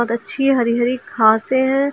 अच्छी हरि हरि घासें हैं।